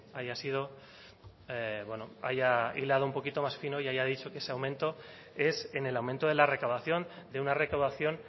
haya sido bueno haya hilado un poquito más fino y haya dicho que ese aumento es en el aumento de la recaudación de una recaudación